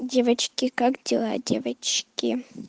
девочки как дела девочки